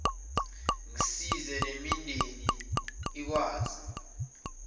ngisize nemindeni ikwazi